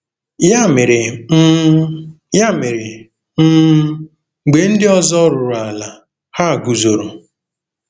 Ya mere, um Ya mere, um mgbe ndị ọzọ ruru ala, ha guzoro.